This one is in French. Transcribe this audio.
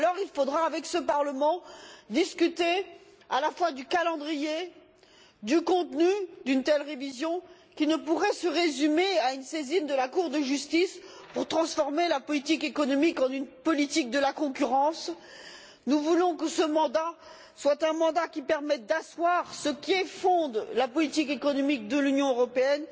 Il faudra discuter avec ce Parlement tant du calendrier que du contenu d'une telle révision, qui ne pourrait se résumer à une saisine de la Cour de justice pour transformer la politique économique en une politique de la concurrence. Nous voulons que ce mandat soit un mandat qui permette d'asseoir ce qui fonde la politique économique de l'Union européenne,